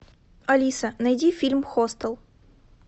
алиса найди фильм хостел